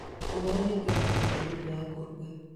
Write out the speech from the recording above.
Ũhoro nĩ ngwenda kũruta ngũkũ ya kũruga .